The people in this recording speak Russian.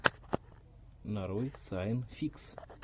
нарой сайн фикс